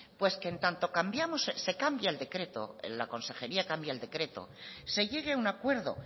pues que en tanto cambiamos se cambia el decreto la consejería cambia el decreto se llegue a un acuerdo